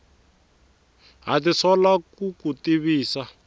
ha tisola ku ku tivisa